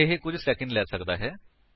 ਇਹ ਕੁੱਝ ਸੈਕੰਡ ਲੈ ਸਕਦਾ ਹੈ